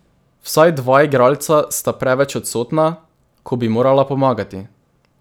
Vsaj dva igralca sta preveč odsotna, ko bi morala pomagati.